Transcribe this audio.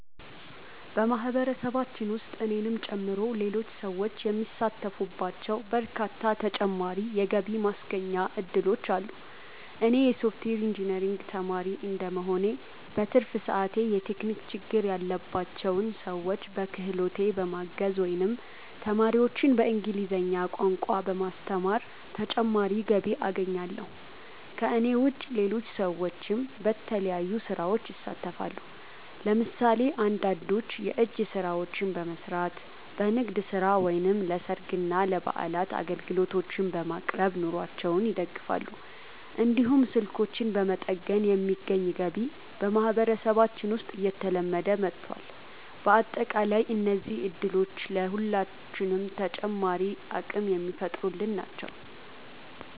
በማህበረሰባችን ውስጥ እኔንም ጨምሮ ሌሎች ሰዎች የሚሳተፉባቸው በርካታ ተጨማሪ የገቢ ማስገኛ እድሎች አሉ። እኔ የሶፍትዌር ኢንጂነሪንግ ተማሪ እንደመሆኔ፣ በትርፍ ሰዓቴ የቴክኒክ ችግር ያለባቸውን ሰዎች በክህሎቴ በማገዝ ወይም ተማሪዎችን በእንግሊዝኛ ቋንቋ በማስተማር ተጨማሪ ገቢ አገኛለሁ። ከእኔ ውጭ ሌሎች ሰዎችም በተለያዩ ስራዎች ይሳተፋሉ። ለምሳሌ አንዳንዶች የእጅ ስራዎችን በመስራት፣ በንግድ ስራ ወይም ለሰርግና ለበዓላት አገልግሎቶችን በማቅረብ ኑሯቸውን ይደግፋሉ። እንዲሁም ስልኮችን በመጠገን የሚገኝ ገቢ በማህበረሰባችን ውስጥ እየተለመደ መጥቷል። በአጠቃላይ እነዚህ እድሎች ለሁላችንም ተጨማሪ አቅም የሚፈጥሩልን ናቸው።